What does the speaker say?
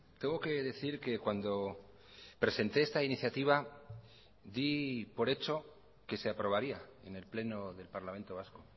tengo que decir que cuando presenté esta iniciativa di por hecho que se aprobaría en el pleno del parlamento vasco